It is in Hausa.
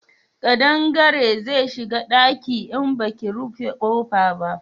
Kadangare zai shiga daki in baki rufe kofa ba